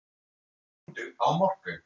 Komdu á morgun.